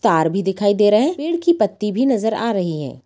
तार भी दिखाई दे रहे हैं पेड़ की पत्ती भी नजर आ रही हैं।